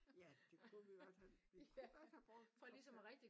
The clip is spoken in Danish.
Ja det kunne vi i hvert fald vi kunne godt have brugt